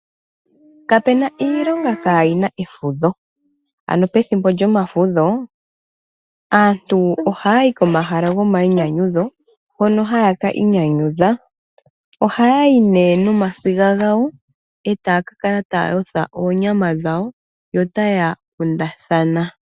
Kapu na iilonga kayi na efudho. Ano pethimbo lyomafudho aantu ohaya yi komahala gomainyanyudho, hono haya ki inyanyudha. Ohaya yi nduno nomasiga gawo e taya ka kala taya yotha onyama yo otaya kundathana.